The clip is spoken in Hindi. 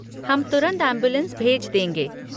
हम तुरंत एम्बुलेंस भेज देंगे।